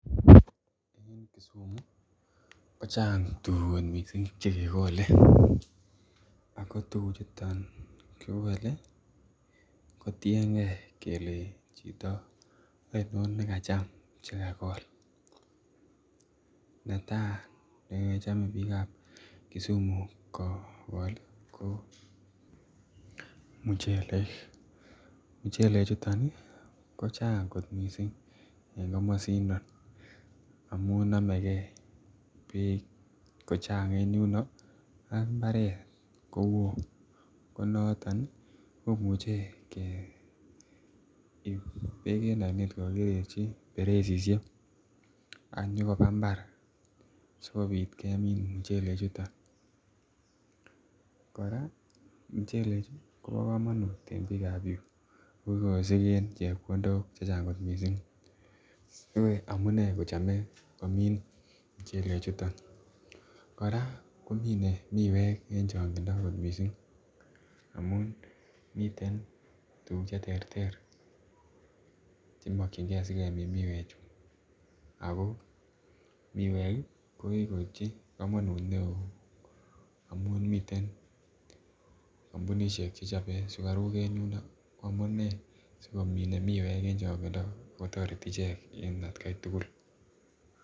Eng Kisumu ko chang tuguk kot missing chekekole ako tuguk chuton kikole ko tiengee kele chito oinon nekacham chekakol. Netaa nechome biik ab Kisumu kokol ko muchelek, muchelek chuton ih kochang kot missing en komosindon amun nomegee beit ko chang en yuno ak mbaret kowoo ko noton ih komuche keib beek en oinet kokokikererchi beresisiek ak nyokoba mbar sikobit kemin muchelek chuton. Kora muchelek chu kobo komonut eng biik ab yuu kikosigen chepkondok chechang kot missing amunee kochome komin muchelek chuton kora komine miwek en chongindo kot missing amun miten tuguk cheterter chemokyingee sikemin miwek chu ako miwek ih kokikoipchi komonut neoo amun miten kampunisiek chechobe sugaruk en yundo ko amunee sikomine miwek eng chongindo kotoreti ichek en atkai tugul